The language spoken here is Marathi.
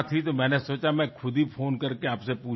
मला वाटले की मी स्वतः फोन करून आपल्याला त्याबद्दल विचारावे